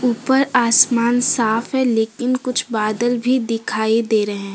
ऊपर आसमान साफ है लेकिन कुछ बादल भी दिखाई दे रहे हैं।